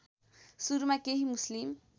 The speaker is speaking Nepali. सुरुमा केही मुस्लिम